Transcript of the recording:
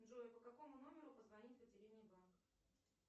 джой по какому номеру позвонить в отделение банка